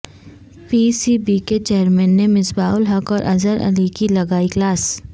پی C B کے chairman نے مصباح الحق اور اظہر علی کی لگائی کلاس